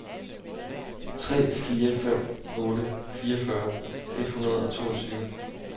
tre fire fem otte fireogfyrre et hundrede og toogtyve